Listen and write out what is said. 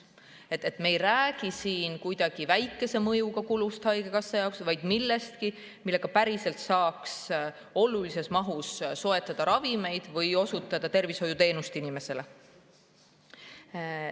Me ei räägi siin kuidagi väikese mõjuga kulust haigekassa jaoks, vaid millestki, millega päriselt saaks olulises mahus ravimeid soetada või inimestele tervishoiuteenust osutada.